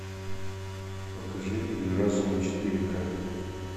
покажи игры разума четыре ка